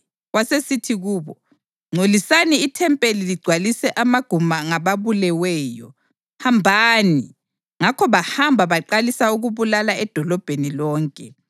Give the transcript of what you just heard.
Wasesithi kubo, “Ngcolisani ithempeli ligcwalise amaguma ngababuleweyo. Hambani!” Ngakho bahamba baqalisa ukubulala edolobheni lonke.